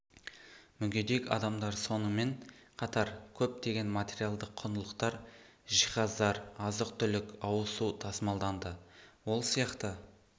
мүгедек адамдар сонымен қатар көптеген материалдық құндылықтар жиһаздар азық түлік ауыз су тасымалданды ол сияқты